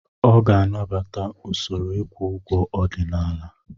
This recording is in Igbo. Ọ ga-anabata usoro ịkwụ ụgwọ ọdịnala.